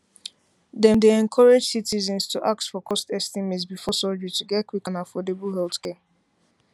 dem dey encourage citizens to ask for cost estimate before surgery to get quick and affordable healthcare